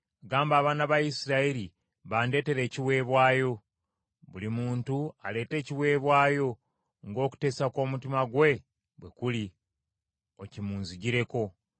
“Gamba abaana ba Isirayiri bandeetere ekiweebwayo. Buli muntu aleete ekiweebwayo ng’okuteesa kw’omutima gwe bwe kuli, okimunzijireko.